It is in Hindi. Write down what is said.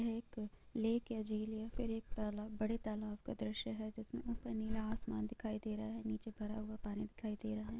यहाँ एक लैक है झील है| फिर एक तालाब बड़े तालाब का द्रश्य है जिसमे ऊपर नीला आसमान दिखाई दे रहा है| नीचे भरा हुआ पानी दिखाई दे रहा है।